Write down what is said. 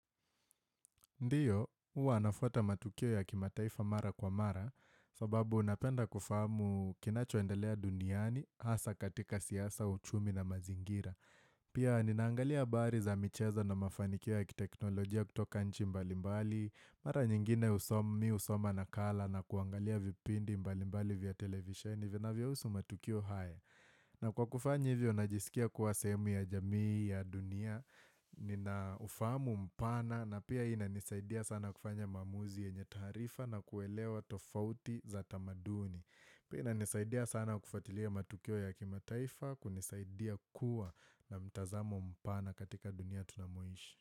Ndiyo, hua nafwata matukio ya kimataifa mara kwa mara sababu napenda kufahamu kinachoendelea duniani hasa katika siasa, uchumi na mazingira. Pia ninaangalia habari za micheza na mafanikio ya kiteknolojia kutoka nchi mbalimbali, mara nyingine mimi husoma nakala na kuangalia vipindi mbalimbali vya televisheni vinavyahusu matukio hayo. Na kwa kufanya hivyo, najisikia kuwa sehemu ya jamii ya dunia, ninaufamu mpana na pia inanisaidia sana kufanya maamuzi yenye taarifa na kuelewa tofauti za tamaduni. Pia inanisaidia sana kufuatilia matukio ya kimataifa, kunisaidia kuwa na mtazamo mpana katika dunia tunamoishi.